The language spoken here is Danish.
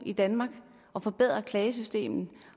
i danmark og forbedrer klagesystemet